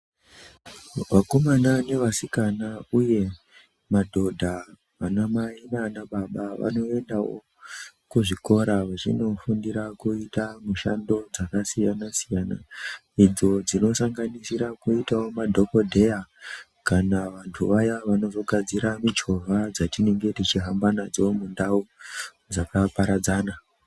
Vakomana nevasikana uye madhodha, vanamai nanababa vanoendawo kuzvikora vachinofundira kuita mishando dzakasiyana-siyana, idzo dzinosanganisira kuitawo madhokodheya kana vantu vaya vanozogadzira michovha dzatinenge tichihamba nadzo mundau dzakaparadzana.